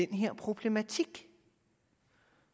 den her problematik